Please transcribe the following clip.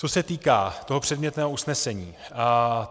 Co se týká toho předmětného usnesení.